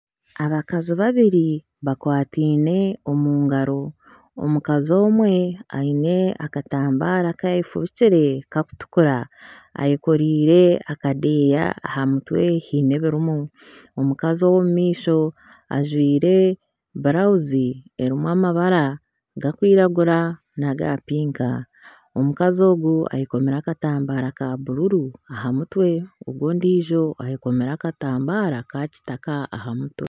Abakazi babiri bakwataine omu ngaro, omukazi omwe aine akatambaara aku ayefubikire karikutukura ayekoreire akadeeya aha mutwe, haine ebirimu. Omukazi ow'omu maisho ajwaire burawuzi erimu amabara garikwiragura n'aga pinka . Omukazi ogu ayekomire akatambaara ka bururu aha mutwe. Ogu ondiijo ayekomire akatambaara ka kitaka aha mutwe.